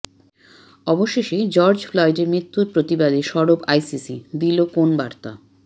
অবশেষে জর্জ ফ্লয়েডের মৃত্যুর প্রতিবাদে সরব আইসিসি দিল কোন বার্তা